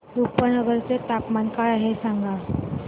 रुपनगर चे तापमान काय आहे सांगा